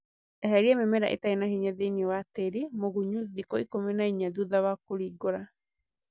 Eheria mĩmera ĩtarĩ na hinya thĩini wa tĩri mũgunyu thikũ ikũmi na inya thutha wa kũringũra